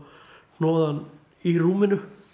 hnoða hann í rúminu